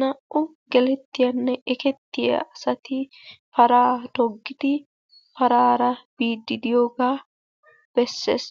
Naa"u gelettiyanne ekettiya asati paraa toggidi paraara biiddi diyoogaa besses.